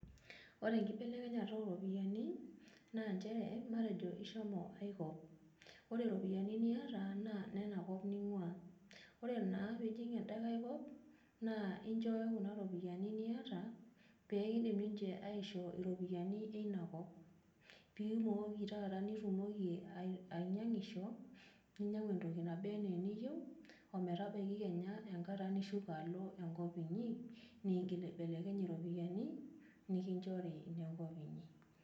Ore enkibelekenyata ooropiyiani naa nchere matejo ishomo ai kop ore iropiyiani niata naa inenakop ning'uaa ore naa pee ijing enda nkai kop naa inchooyo kuna ropiyiani niata pee kiidim ninche aishoo iropiyiani ina kop pee imooki taata nitumoki ainyiang'isho ninyiang'u entoki naba enaa eniyieu ometabaiki kenye enkata nishuko alo enko inyiniigil aibelekny iropiyiani nikinchori inenkop inyi.